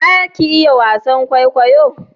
Za ki iya wasan kwaikwayo?